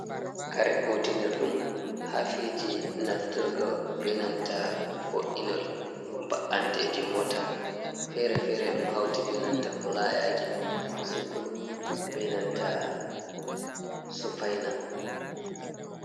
Jare kutinirɗum ha feji nafturgo benanta bo’inol ba’anteji mota fere-fere, ɗum hauti be nanta fulayaji sukul be nanta sufaina.